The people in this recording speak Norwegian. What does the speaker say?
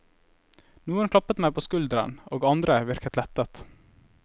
Noen klappet meg på skulderen og andre virket lettet.